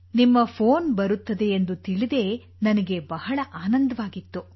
ನಿಮ್ಮ ಫೋನ್ ಬರುತ್ತದೆ ಎಂದು ತಿಳಿದೇ ನನಗೆ ಬಹಳ ಆನಂದವಾಗಿತ್ತು